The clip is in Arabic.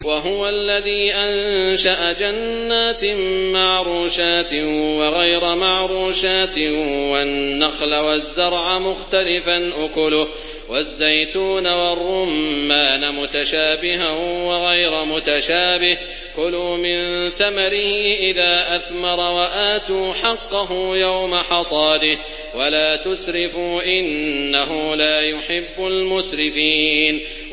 ۞ وَهُوَ الَّذِي أَنشَأَ جَنَّاتٍ مَّعْرُوشَاتٍ وَغَيْرَ مَعْرُوشَاتٍ وَالنَّخْلَ وَالزَّرْعَ مُخْتَلِفًا أُكُلُهُ وَالزَّيْتُونَ وَالرُّمَّانَ مُتَشَابِهًا وَغَيْرَ مُتَشَابِهٍ ۚ كُلُوا مِن ثَمَرِهِ إِذَا أَثْمَرَ وَآتُوا حَقَّهُ يَوْمَ حَصَادِهِ ۖ وَلَا تُسْرِفُوا ۚ إِنَّهُ لَا يُحِبُّ الْمُسْرِفِينَ